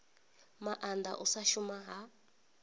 maanda u sa shuma ha